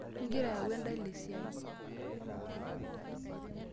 Ingira ayau endala esiai.